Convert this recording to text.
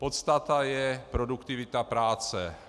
Podstata je produktivita práce.